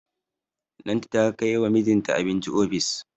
Lanti ta kai wa mijinta abinci ofis.